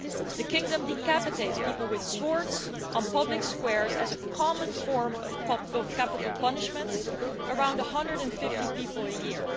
The kingdom decapitates people with swords on public squares as a common form of capital punishment around 150 people a year.